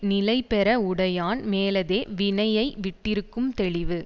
நிலை பெற உடையான் மேலதே வினையை விட்டிருக்கும் தெளிவு